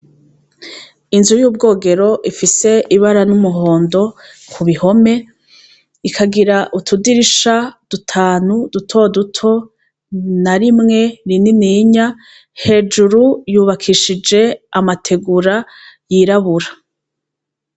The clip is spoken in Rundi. Inzu yubwogero ifise ibara ryumuhondo kuruhome ikagira utudirisha dutanu dutoduto kuruhome hamwe narimw rinini hejuru yubakishije amategura yirabura.